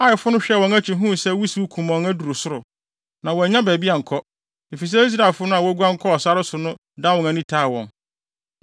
Aifo no hwɛɛ wɔn akyi huu sɛ wusiw kumɔnn aduru soro, na wɔannya baabi ankɔ, efisɛ Israelfo no a woguan kɔɔ sare so no dan wɔn ani taa wɔn.